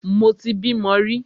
Mo ti bímo rí.